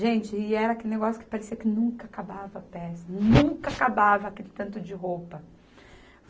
Gente, e era aquele negócio que parecia que nunca acabava a peça, nunca acabava aquele tanto de roupa.